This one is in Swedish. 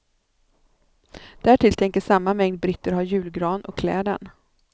Därtill tänker samma mängd britter ha julgran och klä den.